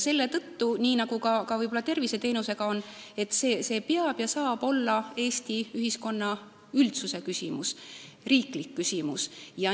Selle tõttu, nii nagu võib-olla ka terviseteenused, peab see olema ja saab olla Eesti ühiskonna küsimus, riiklik küsimus.